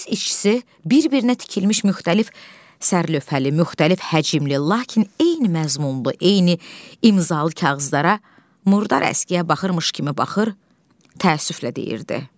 Milis işçisi bir-birinə tikilmiş müxtəlif sərlövhəli, müxtəlif həcmli, lakin eyni məzmunlu, eyni imzalı kağızlara murdar əskiyə baxırmış kimi baxır, təəssüflə deyirdi.